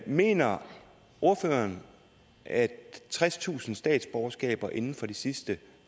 mener ordføreren at tredstusind statsborgerskaber inden for de sidste